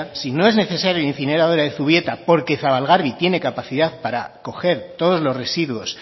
si no es necesaria la incineradora de zubieta porque zabalgarbi tiene capacidad para coger todos los residuos